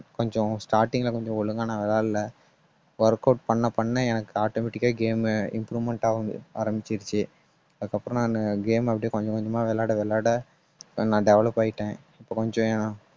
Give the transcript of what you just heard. கொஞ்சம் starting ல கொஞ்சம் ஒழுங்கா நான் விளையாட்டுல workout பண்ண பண்ண எனக்கு automatic ஆ game improvement ஆக ஆரம்பிச்சிருச்சு. அதுக்கப்புறம் நானு game அ அப்படியே கொஞ்சம் கொஞ்சமாக விளையாட விளையாட நான் develop ஆயிட்டேன். இப்ப கொஞ்சம்